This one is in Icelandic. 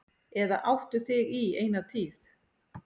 Eða áttu þig í eina tíð.